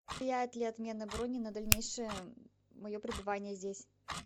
влияет ли отмена брони на дальнейшее мое пребывание здесь